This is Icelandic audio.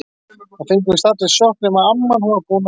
Það fengu víst allir sjokk- nema amman, hún var búin að telja.